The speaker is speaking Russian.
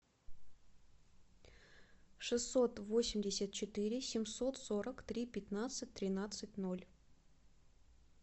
шестьсот восемьдесят четыре семьсот сорок три пятнадцать тринадцать ноль